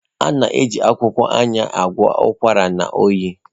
A na-eji akwụkwọ Ayan agwọ ụkwara na oyi.